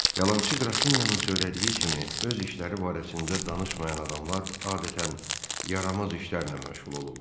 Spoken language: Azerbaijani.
Yalançı Qrafinyanın söylədiyi kimi öz işləri barəsində danışmayan adamlar adətən yaramaz işlərlə məşğul olurlar.